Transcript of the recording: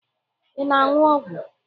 Ị na-aṅụ ọgwụ?